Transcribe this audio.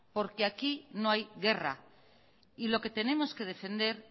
porque aquí no hay guerra y lo que tenemos que defender